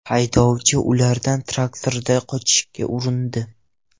Haydovchi ulardan traktorda qochishga urindi.